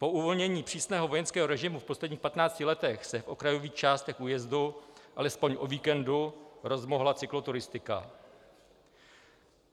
Po uvolnění přísného vojenského režimu v posledních 15 letech se v okrajových částech újezdu alespoň o víkendu rozmohla cykloturistika.